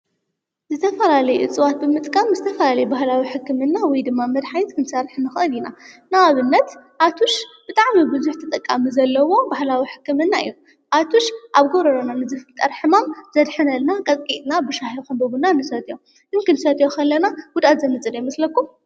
ዝተፈላለየ እፅዋት ብምጥቃም ዝተፈላለዩ ባህላዊ ሕክምና ወይ ድማ መድሓኒት ክንሰርሕ ንኽአል ኢና፡፡ ንኣብነት ኣቱሽ ብጥዕሚ ብዙሕ ተጠቃሚ ዘለዎ ባህላዊ ሕክምና እዩ፡፡ ኣቱሽ ኣብ ጐሮሮና ንዝፍልጠር ሕማም ዘድሕነልና ቐጥቒጥና ብሻሂ ይኹን ብቡና ንሰትዮ፡፡ ክንሰትዮ ኸለና ጉድዳኣት ዘምጽእ ዶ ይመስለኩም?